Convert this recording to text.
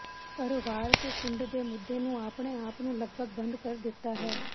ਪਰ ਵਾਰ ਕੇ ਕੁੰਡ ਦੇ ਮੁੱਦੇ ਨੂੰ ਆਪਣੇ ਆਪ ਨੂੰ ਲਗਭਗ ਬੰਦ ਕਰ ਦਿੱਤਾ ਹੈ